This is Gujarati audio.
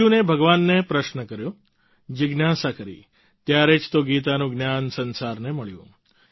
અર્જુને ભગવાને પ્રશ્ન કર્યો જિજ્ઞાસા કરી ત્યારે જ તો ગીતાનું જ્ઞાન સંસારને મળ્યું